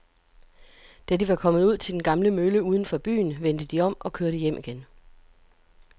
Da de var kommet ud til den gamle mølle uden for byen, vendte de om og kørte hjem igen.